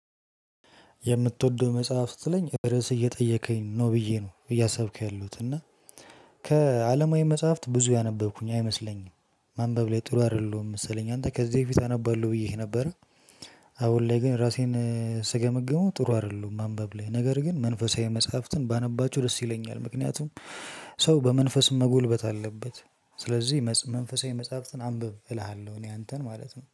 የምትወደው መጽሐፍ ስትለኝ ርዕስ እየጠየከኝ ነው ብዬ ነው እያሰብኩ ያሉት እና ከአለማዊ መጽሐፍት ብዙ ያነበብኩኝ አይመስለኝም። ማንበብ ላይ ጥሩ አይደለሁም መሰለኝ አንተ ከዚህ በፊት አነባለሁ ብዬ ነበር። አሁን ላይ ግን ራሴን ስገመግመው ጥሩ አይደሉም ማንበብ ላይ ነገር ግን መንፈሳዊ መጽሐፍትን ባነባችሁ ደስ ይለኛል። ምክንያቱም ሰው በመንፈስ መጎልበት አለበት። ስለዚህ መንፈሳዊ መጽሐፍትን አንብብ እልሃለሁ እኔ አንተን ማለት ነው